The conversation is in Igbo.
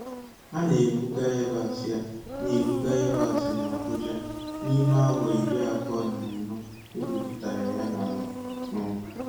A na-ebuga yabasị A na-ebuga yabasị n'Abuja n'ime awa iri abụọ na anọ e gwupụtara ya n'ala. um